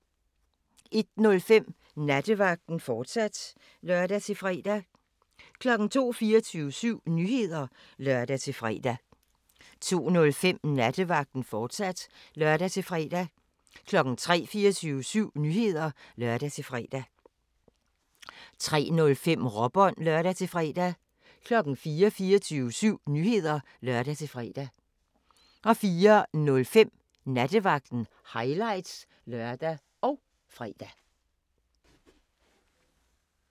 01:05: Nattevagten, fortsat (lør-fre) 02:00: 24syv Nyheder (lør-fre) 02:05: Nattevagten, fortsat (lør-fre) 03:00: 24syv Nyheder (lør-fre) 03:05: Råbånd (lør-fre) 04:00: 24syv Nyheder (lør-fre) 04:05: Nattevagten – highlights (lør og fre)